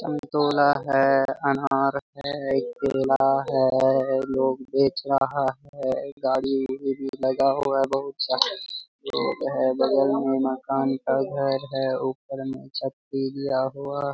संतोला है अनार है केला है और लोग बेच रहा है गाड़ी-उरी भी लगा हुआ है बहुत सारा लोग है बगल मे मकान का घर है ऊपर में छत भी दिया हुआ --